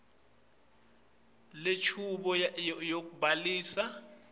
njengobe lenchubo yekubhalisa